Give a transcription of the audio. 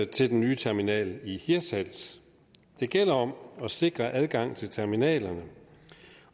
til den nye terminal i hirtshals det gælder om at sikre adgang til terminalerne